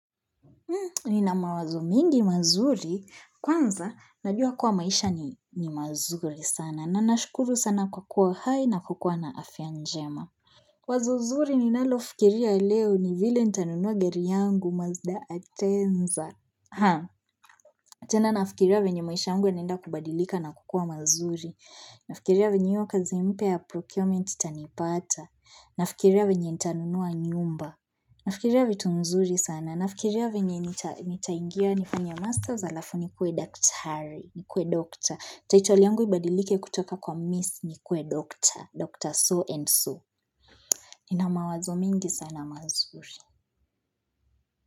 Nina mawazo mingi mazuri, kwanza najua kuwa maisha ni mazuri sana. Na nashukuru sana kwa kuwa hai na kukuwa na afya njema. Wazo zuri ninalofikiria leo ni vile nitanunua gari yangu mazda atenza. Tena nafikiria venye maisha yangu yanaenda kubadilika na kukuwa mazuri. Nafikiria venye hio kazi mpya ya procurement itanipata. Nafikiria venye nitanunua nyumba. Nafikiria vitu mzuri sana nafikiria venye nitaingia nifanye master alafu nikuwe daktari nikuwe doctor title yangu ibadilike kutoka kwa miss nikuwe doctor, dr. So and so nina mawazo mingi sana mazuri.